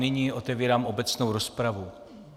Nyní otevírám obecnou rozpravu.